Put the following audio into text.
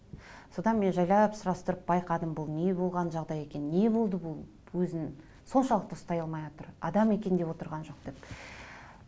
содан мен жайлап сұрастырып байқадым бұл не болған жағдай екен не болды бұл өзін соншалықты ұстай алмайатыр адам екен деп отырған жоқ деп